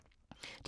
DR2